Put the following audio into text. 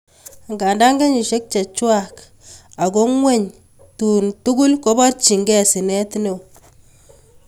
Angan kenyisiek chechwak, ako ngweny dun tugul koborchinke sinet neo.